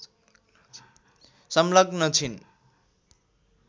संलग्न छिन्